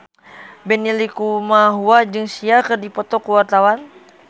Benny Likumahua jeung Sia keur dipoto ku wartawan